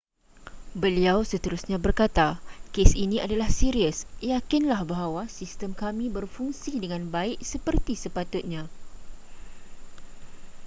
beliau seterusnya berkata kes ini adalah serius yakinlah bahawa sistem kami berfungsi dengan baik seperti sepatutnya